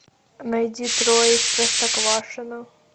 найди трое из простоквашино